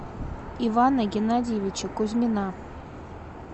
ивана геннадьевича кузьмина